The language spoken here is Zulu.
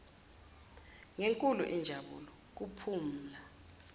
ngenkulu injabulo kuphumla